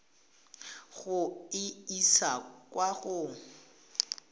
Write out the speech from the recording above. go e isa kwa go